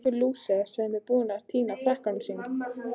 Einhver lúser sem er búinn að týna frakkanum sínum!